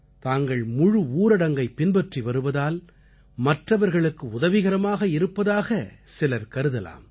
தாங்கள் முழு ஊரடங்கைப் பின்பற்றி வருவதால் மற்றவர்களுக்கு உதவிகரமாக இருப்பதாகச் சிலர் கருதலாம்